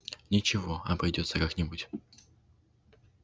ничего обойдётся как нибудь